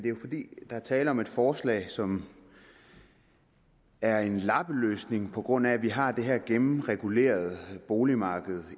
fordi der er tale om et forslag som er en lappeløsning på grund af at vi har det her gennemregulerede boligmarked